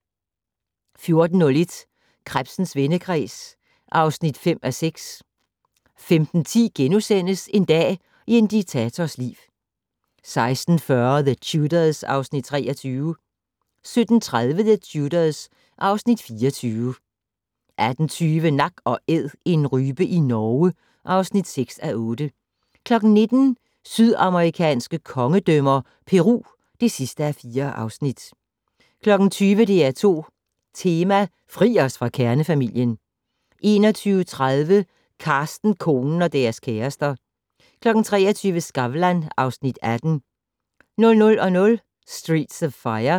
14:01: Krebsens vendekreds (5:6) 15:10: En dag i en diktators liv * 16:40: The Tudors (Afs. 23) 17:30: The Tudors (Afs. 24) 18:20: Nak & Æd - en rype i Norge (6:8) 19:00: Sydamerikanske kongedømmer - Peru (4:4) 20:00: DR2 Tema: Fri os fra kernefamilien 21:30: Carsten, konen - og deres kærester 23:00: Skavlan (Afs. 18) 00:00: Streets of Fire